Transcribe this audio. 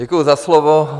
Děkuji za slovo.